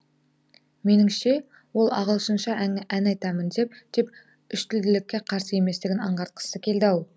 меніңше ол ағылшынша ән айтамын деп үштілділікке қарсы еместігін анғартқысы келді ау